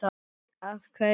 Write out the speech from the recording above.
Af hverju Sykur?